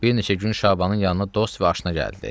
Bir neçə gün Şabanın yanında dost və aşna gəldi.